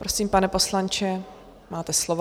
Prosím, pane poslanče, máte slovo.